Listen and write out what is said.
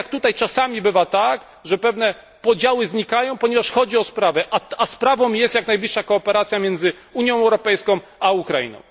Tak samo jak tutaj czasami bywa tak, że pewne podziały znikają, ponieważ chodzi o sprawę. Sprawą tą jest jak najbliższa współpraca między Unią Europejską a Ukrainą.